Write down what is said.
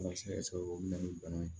o bɛ na ni bana ye